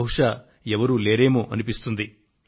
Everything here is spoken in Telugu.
బహుశా ఎవరూ లేరేమో అనిపిస్తుంది